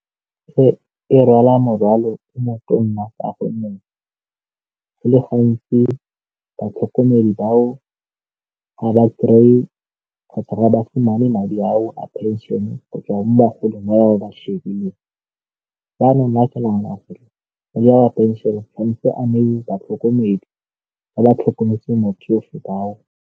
E rwala morwalo o motona ka gonne go le gantsi batlhokomedi bao ga ba kry-e kgotsa madi ao a pension-e go tswa mo bagolong wa ba ba nwa kanang madi a pension-e tshwanetse a neiwe batlhokomedi ba tlhokometseng motsofe .